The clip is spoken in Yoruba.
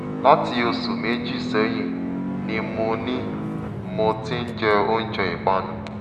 láti oṣù méjì sẹ́yìn ni mo ni mo ti ń jẹ oúnjẹ ìpanu